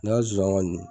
Ne ka zonzannin ninnu